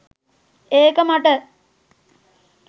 ඒක මට.